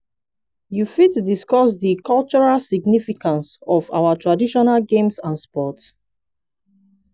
you fit discuss di cultural significance of our traditional games and sports?